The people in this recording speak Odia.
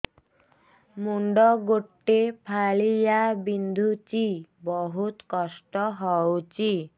ମୁଣ୍ଡ ଗୋଟେ ଫାଳିଆ ବିନ୍ଧୁଚି ବହୁତ କଷ୍ଟ ହଉଚି